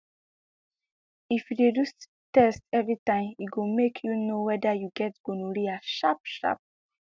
if u de do sti test everytime e go mk u knw weda u get gonorrhea sharp sharp